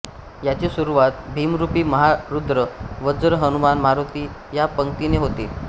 याची सुरुवात भीमरूपी महारुद्र वज्र हनुमान मारुती या पंक्तीने होते